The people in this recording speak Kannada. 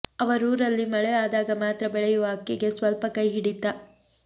ಅವರೂರಲ್ಲಿ ಮಳೆ ಆದಾಗ ಮಾತ್ರ ಬೆಳೆಯುವ ಅಕ್ಕಿಗೆ ಸ್ವಲ್ಪ ಕೈ ಹಿಡಿತ